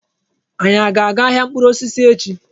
Anyi a ga-aga ahịa mkpụrụ osisi echi?